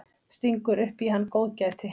Stingur upp í hann góðgæti.